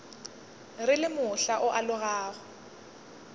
re le mohla o alogago